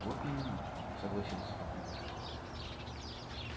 вот именно согласился папулька